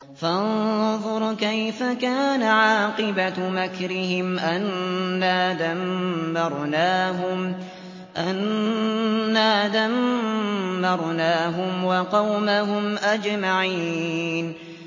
فَانظُرْ كَيْفَ كَانَ عَاقِبَةُ مَكْرِهِمْ أَنَّا دَمَّرْنَاهُمْ وَقَوْمَهُمْ أَجْمَعِينَ